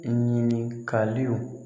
Ɲinikaliw